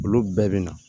Olu bɛɛ bɛ na